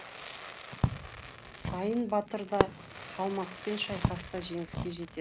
сайын батыр да қалмақпен шайқаста жеңіске жетеді